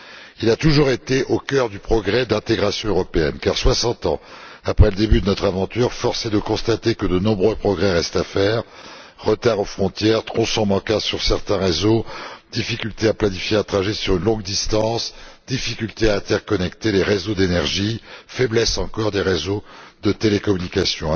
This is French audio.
Il a toujours été au cœur du projet d'intégration européenne. Car, soixante ans après le début de notre aventure, force est de constater que de nombreux progrès restent à faire retards aux frontières, tronçons manquants sur certains réseaux, difficultés à planifier un trajet sur une longue distance, difficultés à interconnecter les réseaux d'énergie, faiblesse encore des réseaux de télécommunications.